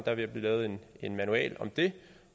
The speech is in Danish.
er ved at blive lavet en en manual om det